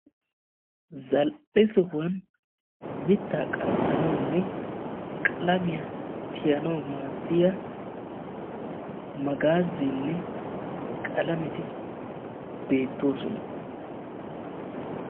zaal"e sohuwan mittaa qanxxanawunne qalamiya tiyanawu maaddiyaa magaazzeenne qalameti beettoosona.